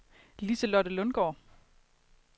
Liselotte Lundgaard